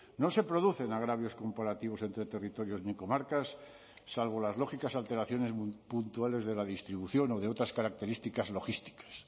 no se producen agravios comparativos entre territorios ni comarcas salvo las lógicas alteraciones puntuales de la distribución o de otras características logísticas